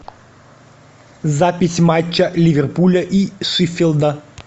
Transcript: запись матча ливерпуля и шеффилда